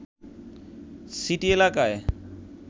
city এলাকায়